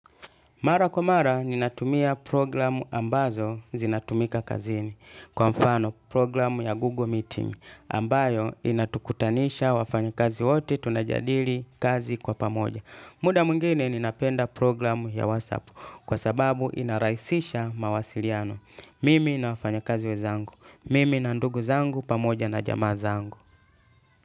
Mara kwa mara, ninatumia programu ambazo zinatumika kazini. Kwa mfano, programu ya Google Meeting, ambayo inatukutanisha wafanya kazi wote tunajadili kazi kwa pamoja. Muda mwingine ninapenda program ya WhatsApp kwa sababu inarahisisha mawasiliano. Mimi na wafanya kazi wenzangu. Mimi na ndugu zangu pamoja na jamaa zangu.